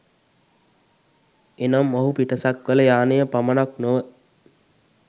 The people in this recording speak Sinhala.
එනම් ඔහු පිටසක්වළ යානය පමණක් නොව,